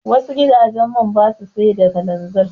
Wasu gidajen man basa siyar da kalanzir.